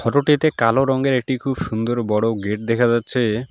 Photo -টিতে কালো রঙের একটি খুব সুন্দর বড় গেট দেখা যাচ্ছে।